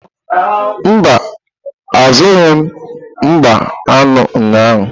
Mba, azụrụghị m mgbá aṅụ ụnyahụ.